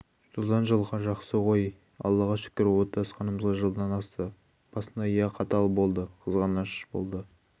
жылдан жылға жақсы ғой аллаға шүкір отасқанымызға жылдан асты басында иә қатал болды қызғаныш болды